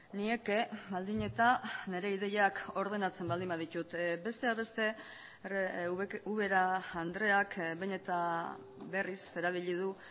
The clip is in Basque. nieke baldin eta nire ideiak ordenatzen baldin baditut besteak beste ubera andreak behin eta berriz erabili du